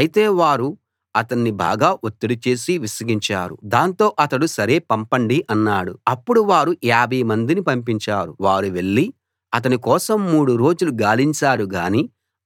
అయితే వారు అతణ్ణి బాగా ఒత్తిడి చేసి విసిగించారు దాంతో అతడు సరే పంపండి అన్నాడు అప్పుడు వారు యాభై మందిని పంపించారు వారు వెళ్లి అతని కోసం మూడు రోజులు గాలించారు గానీ